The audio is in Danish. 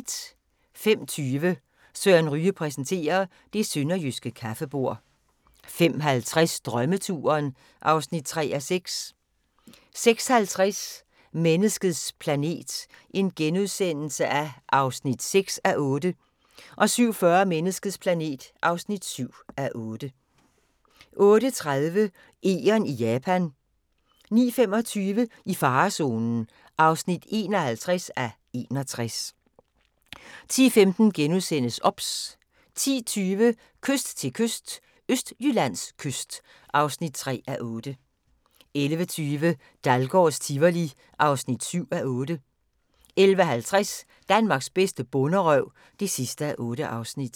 05:20: Søren Ryge præsenterer: Det sønderjyske kaffebord 05:50: Drømmeturen (3:6) 06:50: Menneskets planet (6:8)* 07:40: Menneskets planet (7:8) 08:30: Egern i Japan 09:25: I farezonen (51:61) 10:15: OBS * 10:20: Kyst til kyst – Østjyllands kyst (3:8) 11:20: Dahlgårds Tivoli (7:8) 11:50: Danmarks bedste bonderøv (8:8)